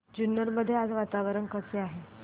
जुन्नर मध्ये आज वातावरण कसे आहे